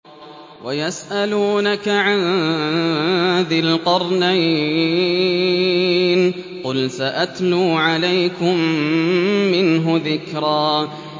وَيَسْأَلُونَكَ عَن ذِي الْقَرْنَيْنِ ۖ قُلْ سَأَتْلُو عَلَيْكُم مِّنْهُ ذِكْرًا